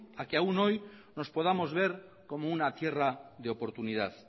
a que aún hoy nos podamos ver como una tierra de oportunidad